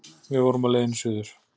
Við vorum á leiðinni suður.